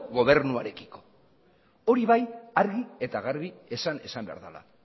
gobernuarekiko hori bai argi eta garbi esan esan behar dela